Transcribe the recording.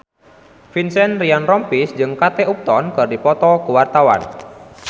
Vincent Ryan Rompies jeung Kate Upton keur dipoto ku wartawan